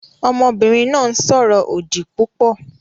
Ọmọbìnrin náà ń sọ̀rọ̀ òdì púpọ̀